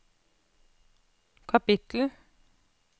kapittel